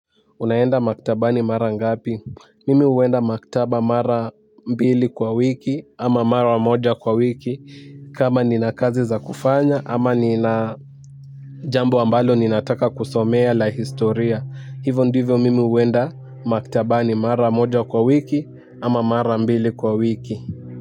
Unaenda maktabani mara ngapi? Mimi uwenda maktaba mara mbili kwa wiki ama mara mmoja kwa wiki. Kama nina kazi za kufanya ama nina jambo ambalo ninataka kusomea la historia. Hivyo ndivyo mimi uwenda maktabani mara mmoja kwa wiki ama mara mbili kwa wiki.